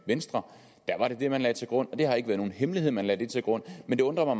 venstre der var det det man lagde til grund og det har ikke været nogen hemmelighed at man lagde det til grund men det undrer